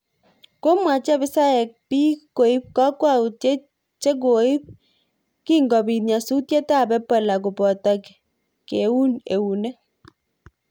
Komwach abisaiyek biik koip kokwautiet chekoip kingobiit nyasutiet ab ebola koboto keun eunek